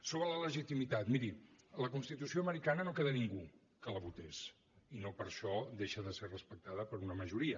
sobre la legitimitat miri de la constitució americana no en queda ningú que la votés i no per això deixa de ser respectada per una majoria